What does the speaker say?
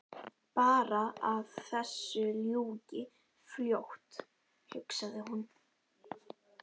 Bara að þessu ljúki fljótt hugsaði hún.